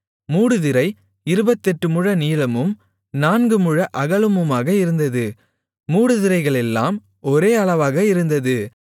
மூடுதிரை இருபத்தெட்டு முழ நீளமும் நான்கு முழ அகலமுமாக இருந்தது மூடுதிரைகளெல்லாம் ஒரே அளவாக இருந்தது